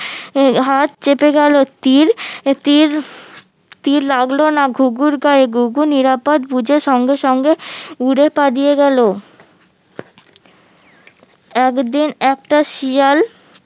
হাত চেপে গেলো তির আহ তির তির লাগলোনা ঘুঘুর গায়ে ঘুঘু নিরাপদ বুঝে সঙ্গে সঙ্গে উড়ে পালিয়ে গেলো একদিন একটা শিয়াল